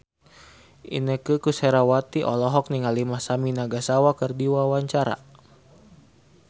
Inneke Koesherawati olohok ningali Masami Nagasawa keur diwawancara